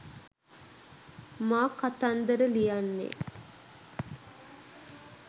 මා කතන්දර ලියන්නේ